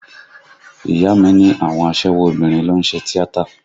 Ìyá a mi ní àwọn aṣẹ́wó obìnrin ló ń ṣe tíátà